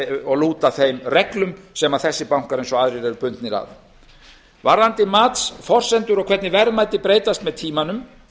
og lúta þeim reglum sem þessir bankar eins og aðrir eru bundnir af varðandi matsforsendur og hvernig verðmæti breytast með tímanum